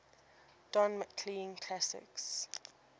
don mclean classics